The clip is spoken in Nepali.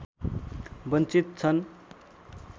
वञ्चित छन्